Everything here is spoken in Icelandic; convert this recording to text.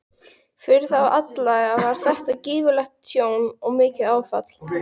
Fyrir þá alla var þetta gífurlegt tjón og mikið áfall.